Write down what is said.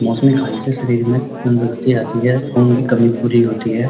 मौसमी खाने से शरीर में तंदूरस्ती आती है। खून की कमी पूरी होती है।